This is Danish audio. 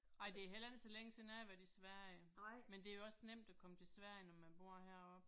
Ej det er heller ikke så længe siden jeg har været i Sverige. Men det er jo også nemt at komme til Sverige når man bor heroppe